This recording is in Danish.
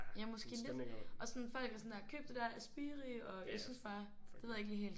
Ja måske lidt. Og sådan folk er sådan der køb det der Aspiri og jeg synes bare det ved jeg ikke lige helt